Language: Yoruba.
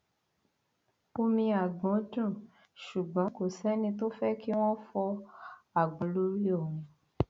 omi àgbọn dùn ṣùgbọn kò sẹni tó fẹ kí wọn fọ àgbọn lórí òun